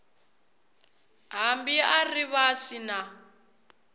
hambi a ri vasi na